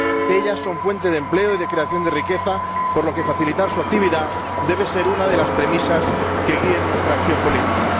Ellas son fuente de empleo y de creación de riqueza, por lo que facilitar su actividad debe ser una de las premisas que guíen nuestra acción política.